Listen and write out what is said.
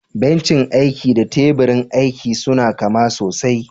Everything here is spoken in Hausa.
Bencin aiki da teburin aiki suna kama sosai.